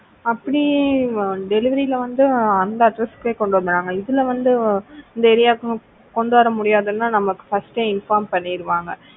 அப்படி delivery ல வந்து அந்த address க்கே கொண்டு வந்துருவாங்க இதுல வந்து இந்த ஏரியாவுக்கு கொண்டு வர முடியாதுன்னா நமக்கு first ஏ inform பண்ணிடுவாங்க.